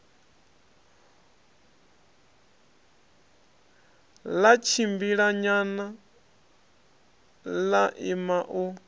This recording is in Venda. ḽa tshimbilanyana ḽa ima u